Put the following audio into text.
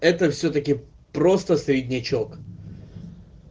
это всё-таки просто среднячок